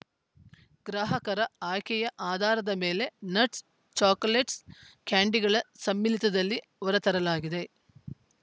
ಗ್ರಾಹಕರ ಆಯ್ಕೆಯ ಆಧಾರದ ಮೇಲೆ ನಟ್ಸ‌ ಚಾಕೊಲೇಟ್ಸ‌ ಕ್ಯಾಂಡೀಗಳ ಸಮ್ಮಿಲಿತದಲ್ಲಿ ಹೊರತರಲಾಗಿದೆ